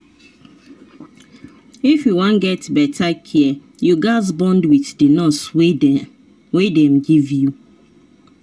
if you wan get better care you gaz bond with the nurse wey dem give you.